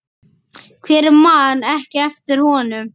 Hver man ekki eftir honum?